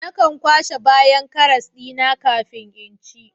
Nakan kwashe bayan karas dina kafin in ci